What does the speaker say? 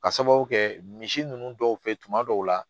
Ka sababu kɛ misi ninnu dɔw fɛ tuma dɔw la